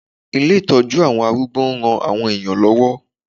Ilé ìtọ́jú àwọn arúgbó ń ran àwọn èèyàn lọ́wọ́